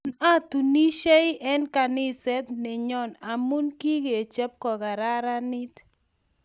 Tun atunisiei eng kaniset nenyon amu kikechop kokararanit